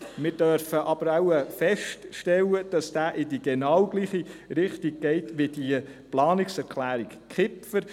Wir dürfen aber wohl feststellen, dass er in genau dieselbe Richtung geht, wie die Pla-nungserklärung Kipfer.